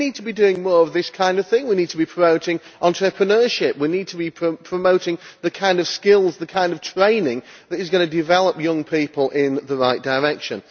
We need to be doing more of this kind of thing we need to be promoting entrepreneurship, we need to be promoting the kind of skills, the kind of training, that are going to develop young people in the right direction.